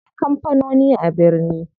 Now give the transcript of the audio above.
Akwai kampanoni a birni.